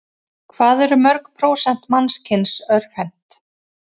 Hvað eru mörg prósent mannkyns örvhent?